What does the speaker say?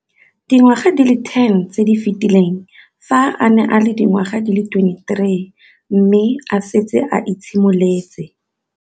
Dingwaga di le 10 tse di fetileng, fa a ne a le dingwaga di le 23 mme a setse a itshimoletse